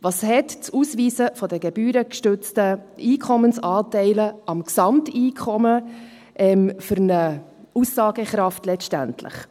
Welche Aussagekraft hat das Ausweisen der gebührengestützten Einkommensanteile am Gesamteinkommen letztendlich?